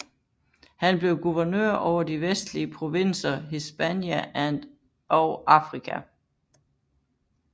Han blev guvernør over de vestlige provinser Hispania og Africa